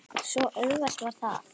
Svo auðvelt var það.